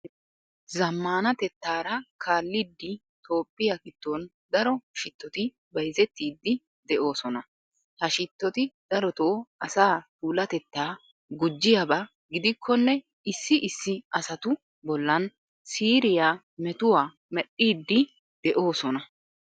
Zammaanatettaara kaallidi Toophphiya giddon daro shittoti bayzettiiddi de'oosona. Ha shittoti darotoo asaa puulatettaa gujjiyaba gidikkonne issi issi asatu bollan siiriya metuwa medhdhiiddi de'oosona.